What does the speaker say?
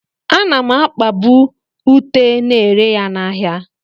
Ana m akpabu ute na-ere ya n'ahịa.